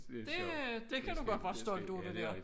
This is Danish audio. Det øh det kan du godt være stolt af det der